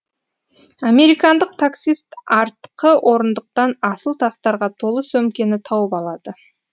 американдық таксист артқы орындықтан асыл тастарға толы сөмкені тауып алады